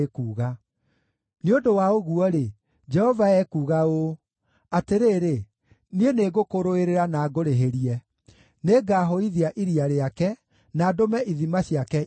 Nĩ ũndũ wa ũguo-rĩ, Jehova ekuuga ũũ: “Atĩrĩrĩ, niĩ nĩngũkũrũĩrĩra na ngũrĩhĩrie; nĩngahũithia iria rĩake, na ndũme ithima ciake ihũe.